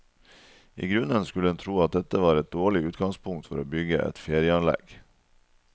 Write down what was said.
I grunnen skulle en tro at dette var et dårlig utgangspunkt for å bygge et ferieanlegg.